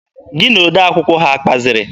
Gị na odee akwụkwọ ha akpaziri?